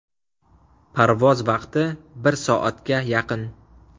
Parvoz vaqti bir soatga yaqin.